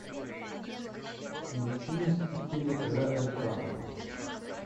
включи мстители эра альтрона